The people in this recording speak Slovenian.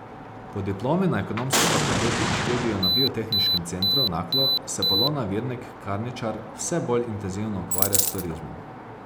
Po diplomi na ekonomski fakulteti in študiju na Biotehniškem centru Naklo se Polona Virnik Karničar vse bolj intenzivno ukvarja s turizmom.